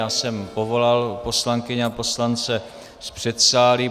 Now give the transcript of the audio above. Já jsem povolal poslankyně a poslance z předsálí.